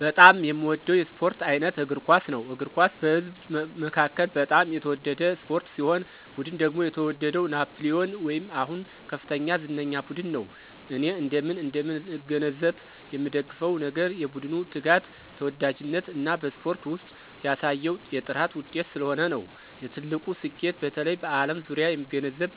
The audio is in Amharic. በጣም የሚወደው የስፖርት አይነት እግር ኳስ ነው። እግር ኳስ በህዝብ መካከል በጣም የተወደደ ስፖርት ሲሆን ቡድን ደግሞ የተወደደው ናፕሊየን ወይም አሁን ከፍተኛ ዝነኛ ቡድን ነው። እኔ እንደምን እንደምን እገነዘብ የምንደግፍ ነገር የቡድኑ ትጋት፣ ተወዳጅነት እና በስፖርት ውስጥ ያሳየው የጥራት ውጤት ስለሆነ ነው። የትልቁ ስኬቱ በተለይ በዓለም ዙሪያ የሚገነዘብ